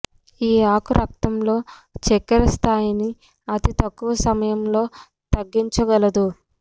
ఈ ఆకు రక్తంలో చక్కెర స్థాయిని అతి తక్కువ సమయములో తగ్గించగలదు